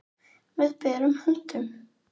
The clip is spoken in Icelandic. Með berum höndum.